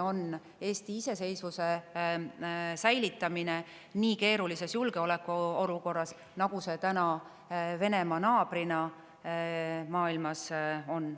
on Eesti iseseisvuse säilitamine nii keerulises julgeolekuolukorras, nagu see meil praegu Venemaa naabrina on.